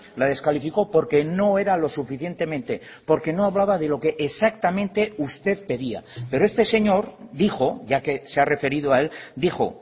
la descalificó porque no era lo suficientemente porque no hablaba de lo que exactamente usted pedía pero este señor dijo ya que se ha referido a él dijo